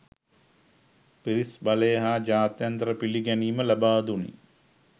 පිරිස් බලය හා ජාත්‍යන්තර පිළිගැනීම ලබාදුණි